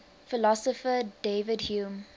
philosopher david hume